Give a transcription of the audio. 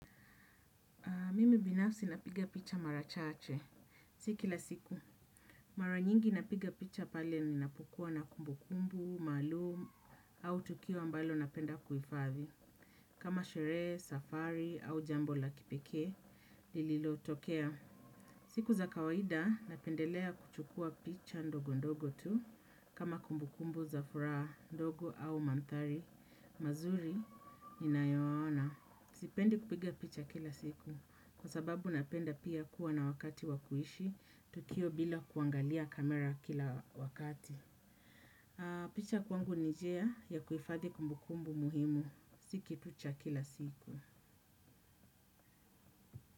Mimi binafsi napiga picha marachache, sikila siku. Mara nyingi napiga picha pale ninapokua na kumbu kumbu, maalum, au tukio ambalo napenda kuhifadhi. Kama sherehe, safari, au jambo la kipekee, lililo tokea. Siku za kawaida napendelea kuchukua picha ndogo ndogo tu, kama kumbu kumbu, zafuraha, ndogo au manthari, mazuri, inayoana. Sipendi kupiga picha kila siku. Kwa sababu napenda pia kuwa na wakati wakuishi, tukio bila kuangalia kamera kila wakati. Picha kwangu ni nijia ya kuhifadhi kumbukumbu muhimu. Sikitu cha kila siku.